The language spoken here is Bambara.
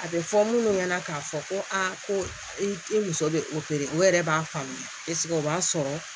A bɛ fɔ munnu ɲɛna k'a fɔ ko aa ko i muso bɛ o yɛrɛ b'a faamuya o b'a sɔrɔ